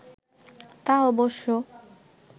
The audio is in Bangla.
তা অবশ্য